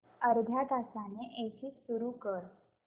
अर्ध्या तासाने एसी सुरू कर